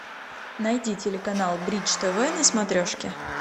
найди телеканал бридж тв на смотрешке